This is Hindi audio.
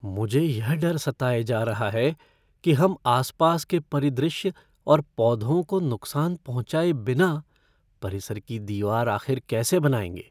मुझे यह डर सताए जा रहा है कि हम आसपास के परिदृश्य और पौधों को नुकसान पहुंचाए बिना परिसर की दीवार आखिर कैसे बनाएंगे।